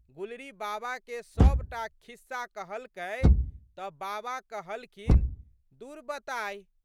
गुलरी बाबा के सब टा खिस्सा कहलकै तऽ बाबा कहलखिन, दुर बताहि!